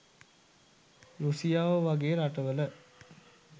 රුසියාව වගේ රටවල..